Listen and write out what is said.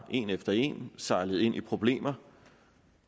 en efter en sejlet ind i problemer